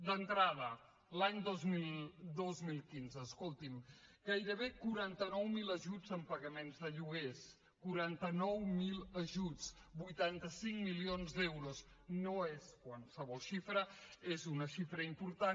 d’entrada l’any dos mil quinze escolti’m gairebé quaranta nou mil ajuts en pagaments de lloguers quaranta nou mil ajuts vuitanta cinc milions d’euros no és qualsevol xifra és una xifra important